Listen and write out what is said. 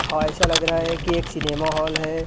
हा ऐसा लग रहा है कि एक सिनेमा हॉल है।